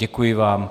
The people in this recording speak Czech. Děkuji vám.